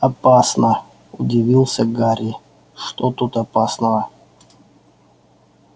опасно удивился гарри что тут опасного